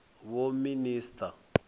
vhoministara